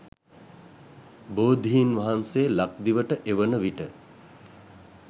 බෝධීන්වහන්සේ ලක්දිවට එවන විට